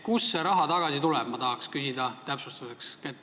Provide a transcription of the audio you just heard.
Ma tahan täpsustuseks küsida, kust see raha tagasi tuleb.